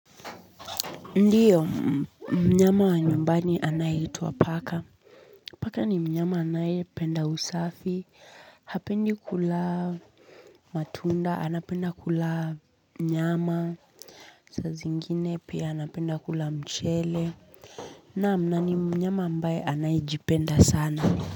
Ndiyo, mnyama wa nyumbani anayeitwa paka. Paka ni mnyama anayependa usafi, hapendi kula matunda, anapenda kula nyama. Saa zingine pia anapenda kula mchele naam, na ni mnyama ambaye anayejipenda sana.